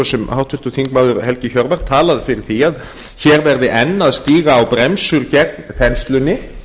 og háttvirtur þingmaður helgi hjörvar talað fyrir því að hér verði enn að stíga á bremsur gegn þenslunni